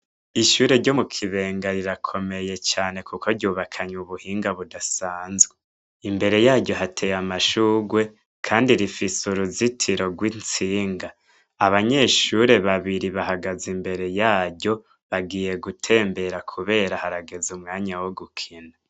Ishure ryo mu Kibenga rirakomeye cane kuko ryubakanye ubuhinga budasanzwe. Imbere yaryo hateye amashurwe kandi rifise uruzitiro rw'intsinga. Abanyeshure babiri bahagaze imbere yaryo, bagiye gutembera kubera harageze umwanya wo gukina.